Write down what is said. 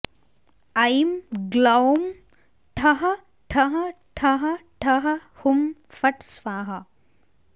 ऐं ग्लौं ठः ठः ठः ठः हुं फट् स्वाहा